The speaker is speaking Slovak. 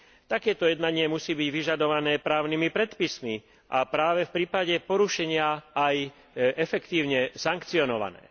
Takéto jednanie musí byť vyžadované právnymi predpismi a práve v prípade porušenia aj efektívne sankcionované.